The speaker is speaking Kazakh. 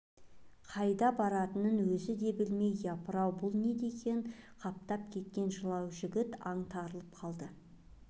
қайда баратынын өзі де білмейді япыр-ау бұл не деген қаптап кеткен жылау жігіт аңтарылып қалды